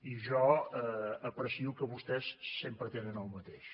i jo aprecio que vostès sempre tenen el mateix